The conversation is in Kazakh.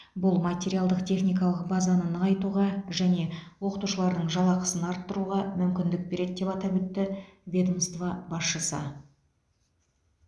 бұл материалдық техникалық базаны нығайтуға және оқытушылардың жалақысын арттыруға мүмкіндік береді деп атап өтті ведомство басшысы